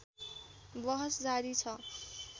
बहस जारी छ